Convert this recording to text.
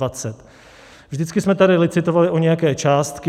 Vždycky jsme tady licitovali o nějaké částky.